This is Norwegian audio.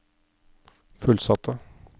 fullsatte